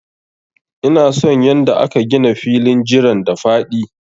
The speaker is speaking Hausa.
Ina son yanda aka gina filin jiran da faɗi.